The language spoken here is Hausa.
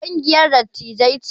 Kungiyar dattijai ce